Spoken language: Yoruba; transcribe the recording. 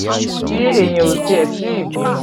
tí eyín ò tiẹ̀ tì í bímọ